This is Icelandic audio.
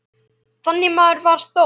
Þannig maður var Þór.